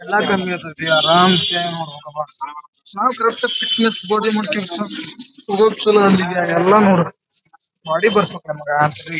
ಎಲ್ಲ ಕಮ್ಮಿ ಅನ್ನಿಸತೈತಿ ಅರಾಮ್ ಸೇವಿಂಗ್ ಮಾಡ್ಬೇಕಪ್ಪ --